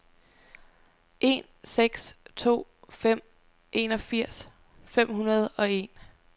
en seks to fem enogfirs fem hundrede og en